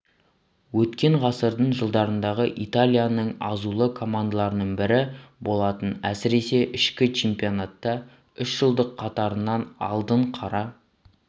өткен ғасырдың жылдарындағы италияның азулы командаларының бірі болатын әсіресе ішкі чемпионатта үш жыл қатарынан алдына қара